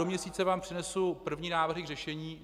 Do měsíce vám přinesu první návrhy k řešení.